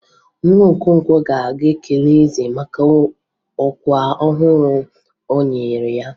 Nwa Okonkwo ga-aga kelee eze maka ọkwa ọhụrụ e nyere ya.